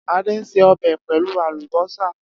Ade se ọbẹ pelu alubosa